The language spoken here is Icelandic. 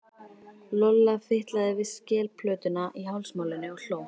Lolla fitlaði við skelplötuna í hálsmálinu og hló.